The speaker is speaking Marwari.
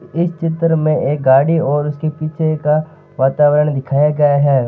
इस चित्र में एक गाड़ी और उसके पीछे का वातावरण दिखाया गया है।